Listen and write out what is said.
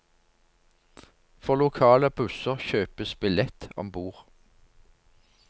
For lokale busser kjøpes billett ombord.